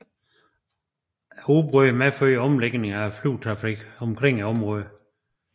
Udbruddet medførte omlægning af flytrafikken omkring området